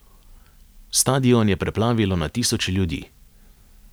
Stadion je preplavilo na tisoče ljudi.